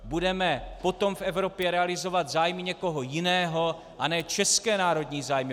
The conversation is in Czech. Budeme potom v Evropě realizovat zájmy někoho jiného, a ne české národní zájmy.